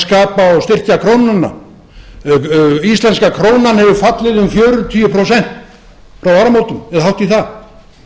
að skapa og styrkja krónuna íslenska krónan hefur fallið um fjörutíu prósent frá áramótum eða hátt í það